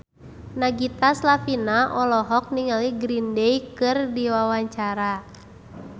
Nagita Slavina olohok ningali Green Day keur diwawancara